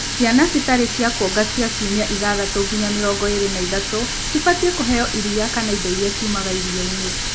ciana citarĩ cĩa kuonga cia ciumia ithathatu nginya mĩrongo ĩĩrĩ na ithatũ cibatiĩ kũheo iria kana indo iria ciumaga iria inĩ